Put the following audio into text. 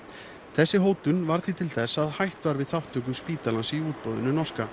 þessi hótun varð því til þess að hætt var við þátttöku spítalans í útboðinu norska